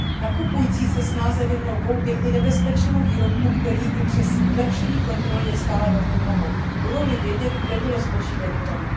Nakupující se snáze vyhnou koupi i nebezpečného výrobku, kterých i přes zlepšení kontroly je stále velmi mnoho, budou li vědět, kde bylo zboží vyrobeno.